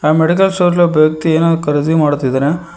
ಆ medical store ಅಲ್ಲಿ ಒಬ್ಬ ವ್ಯಕ್ತಿ ಏನನ್ನೋ ಖರೀದಿ ಮಾಡುತ್ತಿದ್ದಾನೆ.